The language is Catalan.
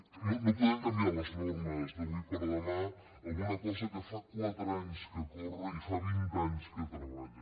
que no podem canviar les normes d’avui per demà en una cosa que fa quatre anys que corre i fa vint anys que treballa